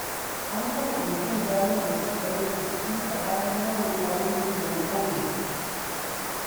An kafa kwamitin gano musabbabin rikicin tsakanin mazauna birnin da na ƙauyen.